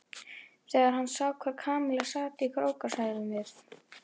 Þegar hann sá hvar Kamilla sat í hrókasamræðum við